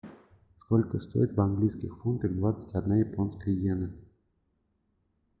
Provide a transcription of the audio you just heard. сколько стоит в английских фунтах двадцать одна японская йена